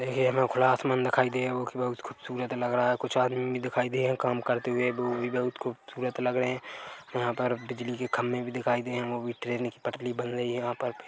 हे एमो मन दिखाई देव खूबसूरत लग रहा है कुछ आदमी भी दिखाई दिए है काम करते हुए वह भी बहुत खूबसूरत लग रहे है यहाँ पर बिजली के खंभे भी दिखाई दिए है वो भी ट्रेन की पटली बन रही है यहाँ पे --